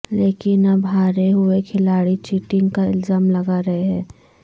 لیکن اب ہارے ہوئے کھلاڑی چیٹنگ کا الزام لگارہے ہیں